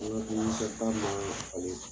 N'i ye duminifɛn d'a ma ale